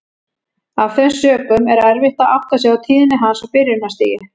Af þeim sökum er erfitt að átta sig á tíðni hans á byrjunarstigi.